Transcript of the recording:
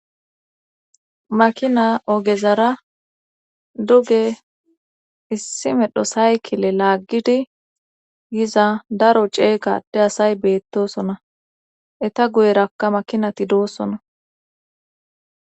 Makina ogezara duge issi medho saykile laaggidi yiza daro ceekade asay beettosona eta guyerakka makinati doosona